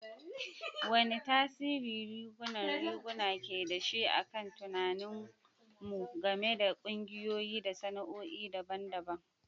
Wane tasiri rigunan riguna ke da shi a kan tunaninmu game da ƙungiyoyi da sana'o'i daban-daban?